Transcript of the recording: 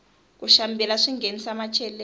ku xambila swinghenisa macheleni